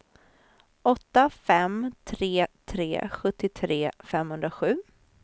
åtta fem tre tre sjuttiotre femhundrasju